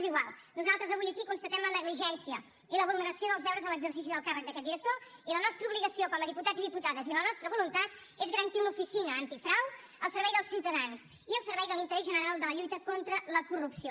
és igual nosaltres avui aquí constatem la negligència i la vulneració dels deures en l’exercici del càrrec d’aquest director i la nostra obligació com a diputats i diputades i la nostra voluntat és garantir una oficina antifrau al servei dels ciutadans i al servei de l’interès general de la lluita contra la corrupció